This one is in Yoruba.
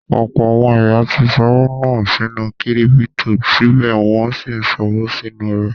Ọ̀pọ̀ àwọn èèyàn tí ṣọwọ́ nù sínú kírípítò, síbẹ̀ wọ́n n sí ṣòwò nínú rẹ̀